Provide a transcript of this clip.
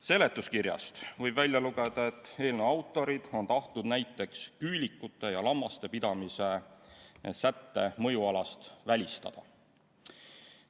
Seletuskirjast võib välja lugeda, et eelnõu autorid on tahtnud näiteks küülikute ja lammaste pidamise sätte mõjualas välistada.